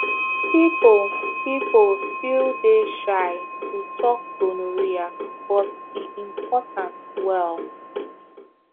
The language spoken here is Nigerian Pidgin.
people people still dey shy to talk gonorrhea but e important well